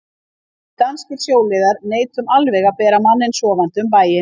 Við danskir sjóliðar neitum alveg að bera manninn sofandi um bæinn.